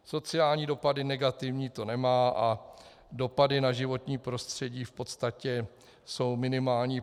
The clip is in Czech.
Sociální dopady negativní to nemá a dopady na životní prostředí v podstatě jsou minimální.